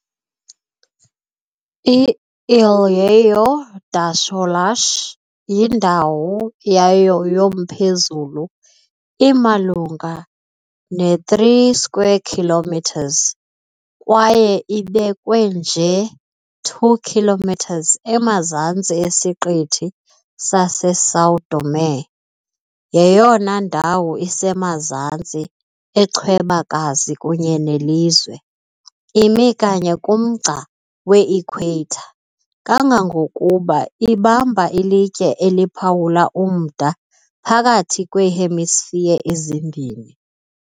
I-Ilhéu das Rolas, indawo yayo yomphezulu imalunga ne-3 km² kwaye ibekwe nje 2. km emazantsi esiqithi saseSão Tomé, yeyona ndawo isemazantsi echwebakazi kunye nelizwe, imi kanye kumgca we-Ikhweyitha, kangangokuba ibamba ilitye eliphawula umda phakathi kweehemisphere ezimbini.